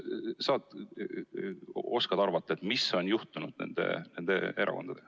Oskad sa arvata, mis on juhtunud nende inimestega?